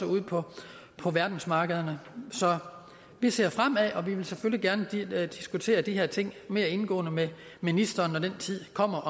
ude på på verdensmarkederne så vi ser fremad og vi vil selvfølgelig gerne diskutere de her ting mere indgående med ministeren når den tid kommer